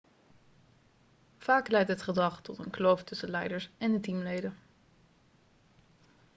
vaak leidt dit gedrag tot een kloof tussen de leiders en de teamleden